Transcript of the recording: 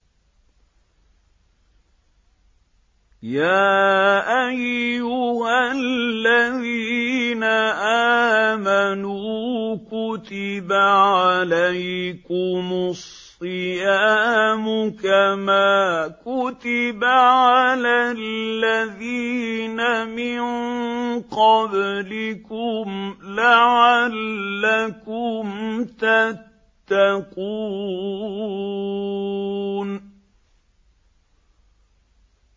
يَا أَيُّهَا الَّذِينَ آمَنُوا كُتِبَ عَلَيْكُمُ الصِّيَامُ كَمَا كُتِبَ عَلَى الَّذِينَ مِن قَبْلِكُمْ لَعَلَّكُمْ تَتَّقُونَ